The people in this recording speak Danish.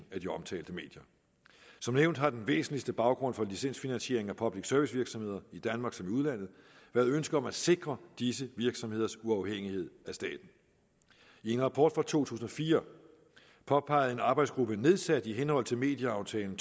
af de omtalte medier som nævnt har den væsentligste baggrund for licensfinansiering af public service virksomheder i danmark som i udlandet været ønsket om at sikre disse virksomheders uafhængighed af staten i en rapport fra to tusind og fire påpegede en arbejdsgruppe nedsat i henhold til medieaftalen